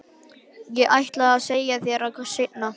Ég ætlaði að segja þér það seinna.